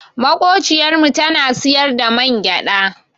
Maƙociyar mu tana siyar da mangyaɗa.